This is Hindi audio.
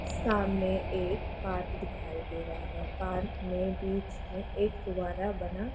सामने एक पार्क दिखाई दे रहा है पार्क मे बीच मे एक फब्बारा बना --